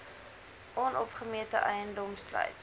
onopgemete eiendom sluit